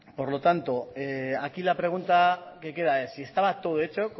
por lo tanto aquí la pregunta es esta si estaba todo hecho